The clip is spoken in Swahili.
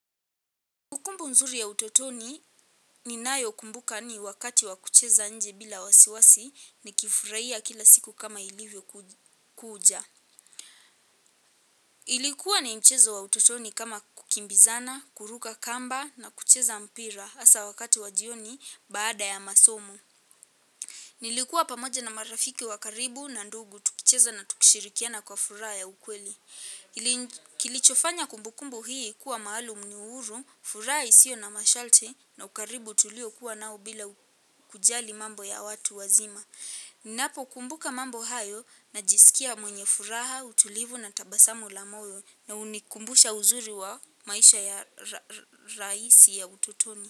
Kumbu kumbu nzuri ya utotoni ninayo kumbuka ni wakati wa kucheza nje bila wasiwasi ni kifuraia kila siku kama ilivyo kuja. Ilikuwa ni mchezo wa utotoni kama kukimbizana, kuruka kamba na kucheza mpira asa wakati wa jioni baada ya masomo. Nilikuwa pamoja na marafiki wa karibu na ndugu tukicheza na tukishirikiana kwa furaha ya ukweli. Kilichofanya kumbukumbu hii kuwa maalum ni uhuru, furaha isio na mashalti na ukaribu tuliokuwa nao bila kujali mambo ya watu wazima. Ninapo kumbuka mambo hayo najisikia mwenye furaha, utulivu na tabasamu la moyo na unikumbusha uzuri wa maisha ya raisi ya ututoni.